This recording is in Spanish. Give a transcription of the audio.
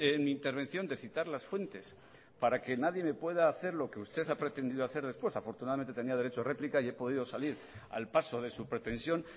en mi intervención de citar las fuentes para que nadie me pueda hacer lo que usted ha pretendido hacer después afortunadamente tenía derecho a réplica y he podido salir al paso de su pretensión